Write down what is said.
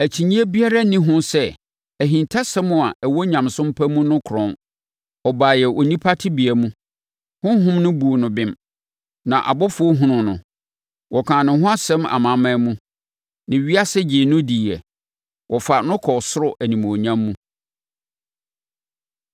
Akyinnyeɛ biara nni ho sɛ, ahintasɛm a ɛwɔ nyamesom pa mu no krɔnn: Ɔbaeɛ onipa tebea mu, Honhom no buu no bem, na abɔfoɔ hunuu no, wɔkaa ne ho asɛm amanaman mu, na ewiase gyee no diiɛ, wɔfaa no kɔɔ ɔsoro animuonyam mu.